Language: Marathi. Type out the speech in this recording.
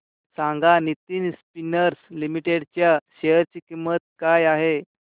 सांगा नितिन स्पिनर्स लिमिटेड च्या शेअर ची किंमत काय आहे